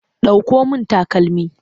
Ɗauko min takalmi!